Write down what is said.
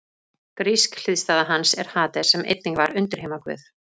Grísk hliðstæða hans er Hades sem einnig var undirheimaguð.